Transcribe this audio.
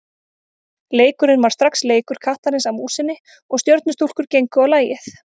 Leikurinn varð strax leikur kattarins að músinni og Stjörnustúlkur gengu á lagið.